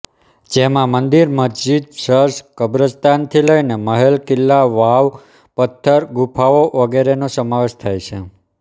જેમાં મંદિર મસ્જિદ ચર્ચ કબ્રસ્તાનથી લઈને મહેલ કિલ્લા વાવ પથ્થર ગુફાઓ વગેરેનો સમાવેશ થાય છે